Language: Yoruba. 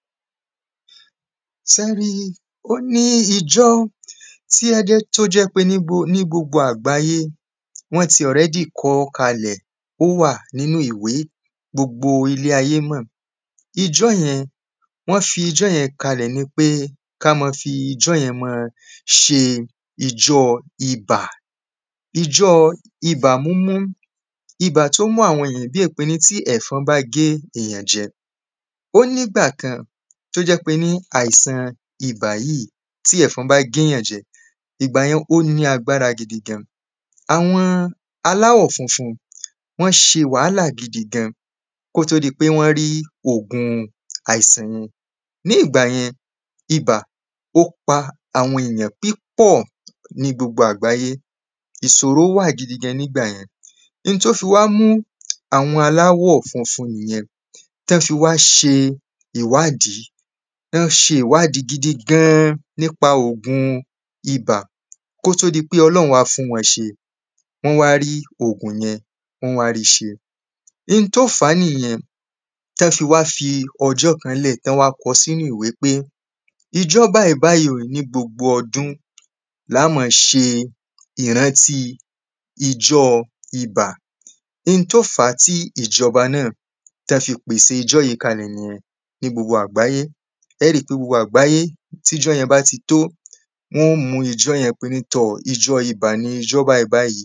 sẹ́ ẹ rí i, ó ní ijọ́ tí ó ẹ́ dẹ́ tó jẹ́ pé ní gbo ní gbogbo àgbáyé, wọ́n ti ọ̀rẹ́dì kọọ́ kalẹ̀, ó wà nínú ìwé gbogbo ilé ayé mọ̀. ijọ́ yẹn, wọ́n fi ijọ́ yẹn ka lè ni pé káá máa fi ijọ́ yẹn máa ṣe ijọ́ ibà ijọ́ ibà múmú. ibà tó mú àwọn èyàn bí è pé tí ẹ̀fọn bá gé èyàn jẹ. ó ní ìgbà kan tó jẹ́ pé ní àìsàn ibà yíì tí ẹ̀fọn bá gé èyàn jẹ, ìgbà yẹn ó ní agbára gidigan àwọ́n aláwọ̀ funfun wọ́n ṣe wàhálà gidi gan, kó tó di í pé wọ́n rí ògun àìsàn yí hun nígbà yẹn ibà ó pa àwọn èyàn pípọ̀ ní gbogbo àgbáyé. ìsòro wà gidigan nígbà yẹn n tó fi wá mú àwọn aláwọ̀ funfun nìyẹn tán fi wá ṣe ìwádìí wọ́n ṣe ìwádìí gidigan ní pa ògun ibà kó tó dí pé ọlọ́run wá fún wọ́n ṣe. wọ́n wá rí ògùn yẹn wọ́n wá rí i ṣe n tó fàá nìyẹn tán fi wá fi ọjọ́ kan ńlẹ̀ tán wá kọ́ sínú ìwé pé ijọ́ báyíbáyí o ni gbogbo ọdún laá ma ṣe ìrántí ijọ́ ibà n tó fàá tí ìjọba náà tán fi pèsè ijọ́ yẹn kalẹ̀ nìyẹn ní gbogbo àgbáyé ẹẹ́ rí i pé gbogbo àgbáyé tí ijọ́ yẹn bá ti tó, wọ́n mú ijọ́ yẹn pé ní tọ̀ ijọ́ ibà ni ijọ́ báyíbáyí